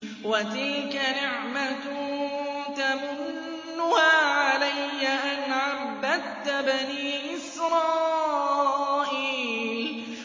وَتِلْكَ نِعْمَةٌ تَمُنُّهَا عَلَيَّ أَنْ عَبَّدتَّ بَنِي إِسْرَائِيلَ